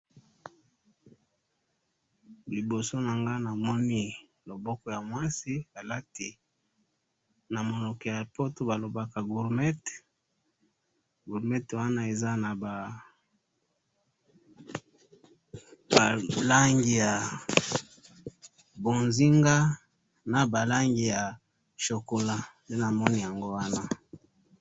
Liboso na nga namoni loboko ya mwasi, alati na monoko ya poto ba lobaka gourmette, gourmette wana eza na ba langi ya bonzinga na ba langi ya chocolat, nde namoni yango wana